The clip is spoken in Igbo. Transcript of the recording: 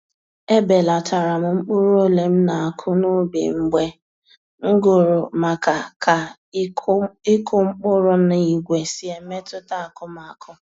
Ebelatara m mkpụrụ ole m na-akụ na ubi mgbe m gụrụ maka ka ịkụ mkpụrụ na igwe si emetuta akụmakụ